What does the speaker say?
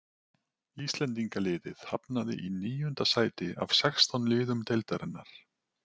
Íslendingaliðið hafnaði í níunda sæti af sextán liðum deildarinnar.